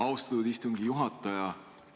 Austatud istungi juhataja!